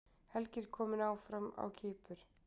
Helgi er kominn áfram á Kýpur